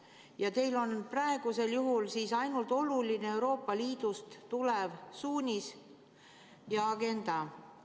Ja teile on praegusel juhul oluline ainult Euroopa Liidust tulev suunis ja agenda.